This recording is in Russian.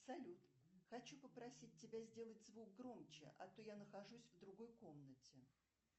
салют хочу попросить тебя сделать звук громче а то я нахожусь в другой комнате